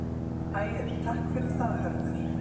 Ægir: Takk fyrir það Hörður.